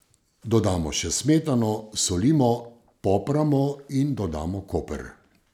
Dodamo še smetano, solimo, popramo in dodamo koper.